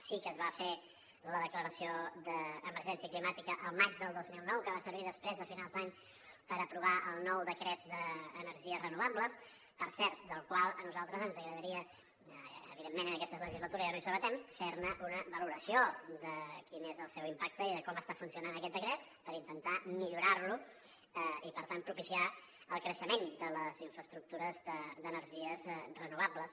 sí que es va fer la declaració d’emergència climàtica el maig del dos mil nou que va servir després a finals d’any per aprovar el nou decret d’energies renovables per cert del qual a nosaltres ens agradaria evidentment en aquesta legislatura ja no hi som a temps fer una valoració de quin és el seu impacte i de com està funcionant aquest decret per intentar millorar lo i per tant propiciar el creixement de les infraestructures d’energies renovables